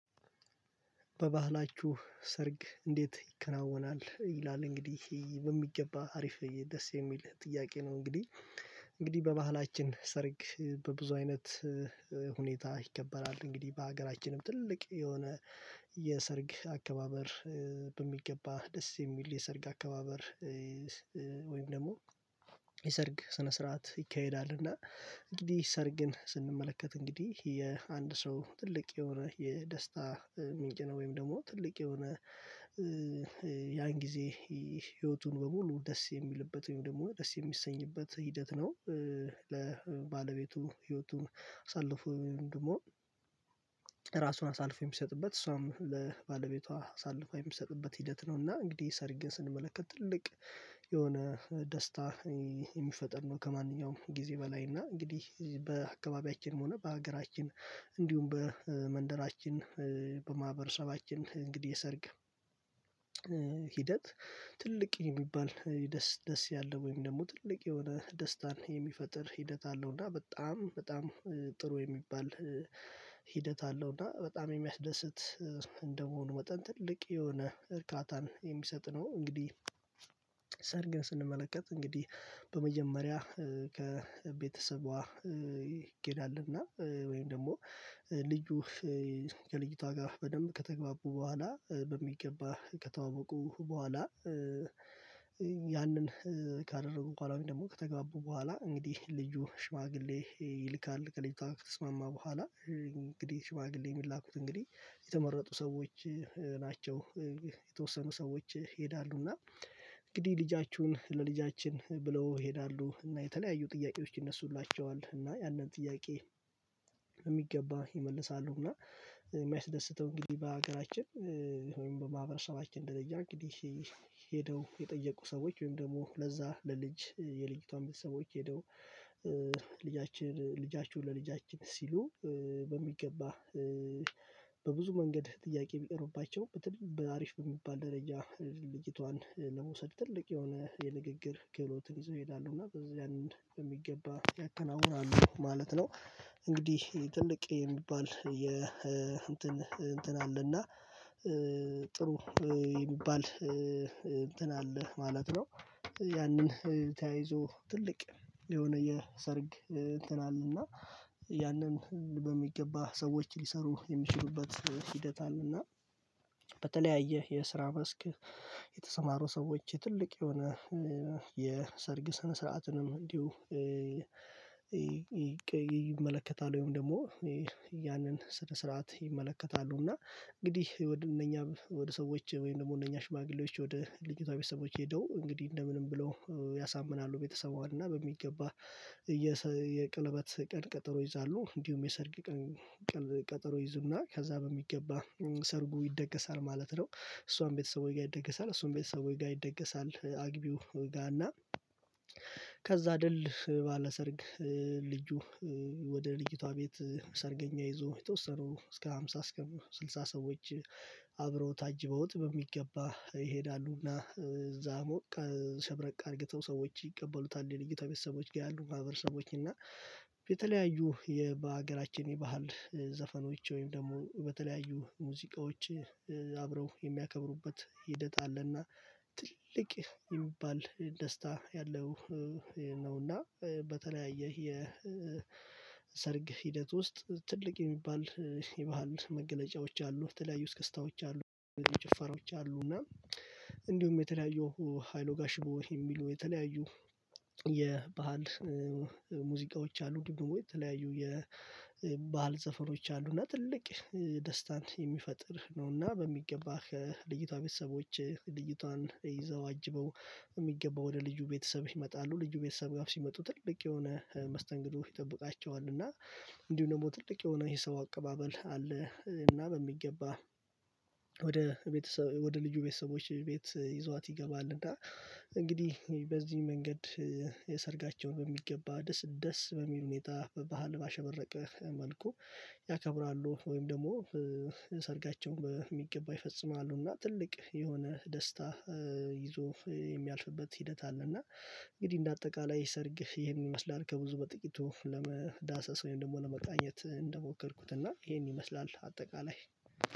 በባህላችሁ ሰርግ እንዴት ይከናወናል ይላል? እንግዲህ ይሄ በሚገባ አሪፍ ደስ የሚል ጥያቄ ነው እንግዲህ። እንግዲህ በባህላችን ሰርግ በብዙ አይነት ሁኔታ ይከበራል እንግዲህ በሀገራችንም ትልቅ የሆነ የሰርግ አከባበር በሚገባ ደስ የሚል የሰርግ አከባበር። ወይም ደግሞ የሰርግ ስነ ስርዓት ይካሄዳል እና እንግዲህ ሰር ግን ስንመለከት እንግዲህ የአንድ ሰው ትልቅ የሆነ የደስታ ምንጭ ነው። ወይም ደግሞ ትልቅ የሆነ ያን ጊዜ ህይወቱን በሙሉ ደስ የሚልበት ወይም ደግሞ ደስ የሚሰኝበት ሂደት ነው። ለባለቤቱ ህይወቱን አሳልፎ ወይም ደግሞ ራሱን አሳልፎ የሚሰጥበት እሷም ለባለቤቷ አሳልፋ የምትሰጥበት ሂደት ነው። እና እንግዲህ ሰርግን ስንመለከት ትልቅ የሆነ ደስታ የሚፈጠር ነው። ከማንኛውም ጊዜ በላይ እና እንግዲህ በአካባቢያችንም ሆነ በሀገራችን እንዲሁም በመንደራችን በማህበረሰባችን እንግዲህ የሰርግ ሂደት ትልቅ የሚባል ደስ ያለ ወይም ደግሞ ትልቅ የሆነ ደስታን የሚፈጥር ሂደት አለው። እና በጣም ጥሩ የሚባል ሂደት አለው። እና በጣም የሚያስደስት እንደመሆኑ መጠን ትልቅ የሆነ እርካታን የሚሰጥ ነው። እንግዲህ ሰርግን ስንመለከት እንግዲህ በመጀመሪያ ከቤተሰቧ ይኬዳልና ወይም ደግሞ ልጁ ከልጅቷ ጋር በደንብ ከተግባቡ በኋላ በሚገባ ከተዋወቁ በኋላ። ያንን ካደረጉ በኋላ ደግሞ ከተጋቡ በኋላ እንግዲህ ልጁ ሽማግሌ ይልካል ከልጁታ ከተስማማ በኋላ እንግዲህ ሽማግሌ የምንላኩት እንግዲህ የተመረጡ ሰዎች ናቸው። የተወሰኑ ሰዎች እና እንግዲህ ልጃችሁን ለልጃችን ብለው ይሄዳሉ እና የተለያዩ ጥያቄዎች ይነሱላቸዋል እና ያንን ጥያቄ በሚገባ ይመልሳሉ። እና የሚያስደስተው እንግዲህ በሀገራችን ወይም በማህበረሰባችን ደረጃ እንግዲህ ሄደው የጠየቁ ሰዎች ወይም ደግሞ ለዛ ለልጅ የልጅቷን ቤተሰቦች ሄደው ልጃችሁን ለልጃችን ሲሉ በሚገባ በብዙ መንገድ ጥያቄ ቢቀርቡባቸው በትንሽ በአሪፍ በሚባል ደረጃ ልጅቷን ለመውሰድ ትልቅ የሆነ የንግግር ክህሎትን ይዞ ይሄዳሉ እና በዚያን በሚገባ ያከናውናሉ ማለት ነው። እንግዲህ ትልቅ የሚባል የ እንትን አለና ጥሩ የሚባል እንትን አለ ማለት ነው። ያንን ተያይዞ ትልቅ የሆነ የሰርግ እንትን አለ እና ያንን በሚገባ ሰዎች ሊሰሩ የሚችሉበት ሂደት አለና። በተለያየ የስራ መስክ የተሰማሩ ሰዎች ትልቅ የሆነ የሰርግ ስነ ስርዓትንም እንዲሁ ይመለከታል ወይም ደግሞ ያንን ስነ ስርዓት ይመለከታሉ። እና እንግዲህ ወደ እነኛ ወደ ሰዎች ወይም ደግሞ እነኛ ሽማግሌዎች ወደ ልጅቷ ቤተሰቦች ሄደው እንግዲህ እንደ ምንም ብለው ያሳምናሉ ቤተሰቧን እና በሚገባ የቀለበት ቀን ቀጠሮ ይይዛሉ። እንዲሁም የሰርግ ቀን ይይዙና ከዛ በሚገባ ሰርጉ ይደገሳል ማለት ነው። እሷም ቤተሰቧ ጋር ይደገሳል እሱም ቤተሰቡ ጋር ይደገሳል አግቢው ጋር እና ከዛ ድል ባለሰርግ ልጁ ወደ ልጅቷ ቤት ሰርገኛ ይዞ የተወሰኑ እስከ ሃምሳ እስከ ስልሳ ሰዎች አብረውት አጅበውት በሚገባ ይሄዳሉና። እዛ ሞቅ ሸብረቅ አድርገው ሰዎች ይቀበሉታል የልጅቷ ቤተሰቦች ጋር ያሉ ማህበረሰቦች እና የተለያዩ በሀገራችን የባህል ዘፈኖች ወይም ደግሞ በተለያዩ ሙዚቃዎች አብረው የሚያከብሩበት ሂደት አለና። ትልቅ የሚባል ደስታ ያለው ነውና። በተለያየ የ የሰርግ ሂደት ውስጥ ትልቅ የሚባል የባህል መገለጫዎች አሉ የተለያዩ እስክታዎች አሉ። ጭፈራዎች አሉ እና እንዲሁም የተለያዩ ሃይሎ ጋሽቦ የሚሉ የተለያዩ የባህል ሙዚቃዎች አሉ። እንድሁም ደግሞ የተለያዩ የባህል ዘፈኖች አሉና ትልቅ ደስታን የሚፈጥር ነውና። በሚገባ ከልጅነቷ ቤተሰቦች ልጅቷን ይዘው አጅበው በሚገባው ወደ ልጁ ቤተሰብ ይመጣሉ። ልጁ ቤተሰብ ጋር ሲመጡ ትልቅ የሆነ መስተንግዶ ይጠብቃቸዋል። እና እንዲሁ ደግሞ ትልቅ የሆነ የሰው አቀባበል አለ። እና በሚገባ ወደ ቤተሰብ ወደ ልጁ ቤተሰቦች ቤት ይዟት ይገባል። እና እንግዲህ በዚህ መንገድ ሰርጋቸውን በሚገባ ደስ በሚል ሁኔታ በባህል ባሸበረቀ መልኩ ያከብራሉ። ወይም ደግሞ ሰርጋቸው በሚገባ ይፈጽማሉ። እና ትልቅ የሆነ ደስታ ይዞ የሚያልፍበት ሂደት አለ። እና እንግዲህ እንደ አጠቃላይ ሰርግ ይሄን ይመስላል ከብዙ በጥቂቱ ለመዳሰስ ወይም ደግሞ ለመቃኘት እንደሞከርኩት እና ይሄን ይመስላል። አጠቃላይ